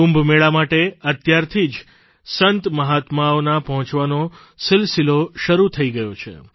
કુંભમેળા માટે અત્યારથી જ સંતમહાત્માઓના પહોંચવાનો સિલસિલો શરૂ પણ થઇ ગયો છે